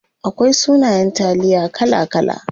Akwai sunayen taliya kala kala.